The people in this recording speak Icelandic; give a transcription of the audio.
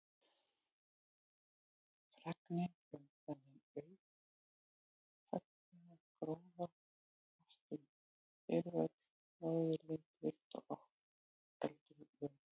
Fregnin um þennan auðfengna gróða barst um gervöll Norðurlönd líkt og eldur í sinu.